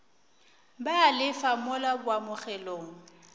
ba a lefa mola boamogelong